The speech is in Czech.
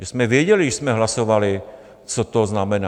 Že jsme věděli, když jsme hlasovali, co to znamená.